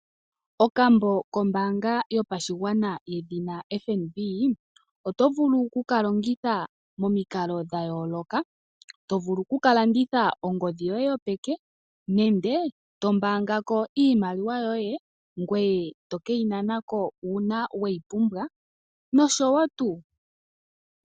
Okambo kombaanga yopashigwana yedhina FNB, oto vulu okukalongitha momikalo dhayooloka. Oto vulu okukalanditha ongodhi yoye yopeke nenge to pungula ko iimaliwa yoye ngweye toke yi nana ko uuna we yi pumbwa nosho tuu.